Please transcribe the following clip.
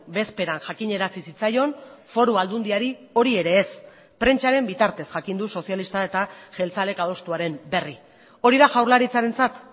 bezperan jakinarazi zitzaion foru aldundiari hori ere ez prentsaren bitartez jakin du sozialista eta jeltzalek adostuaren berri hori da jaurlaritzarentzat